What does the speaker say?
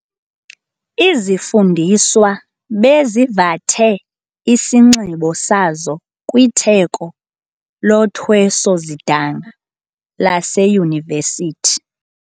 Izifundiswa bezivathe isinxibo sazo kwitheko lothweso-zidanga laseyunivesithi.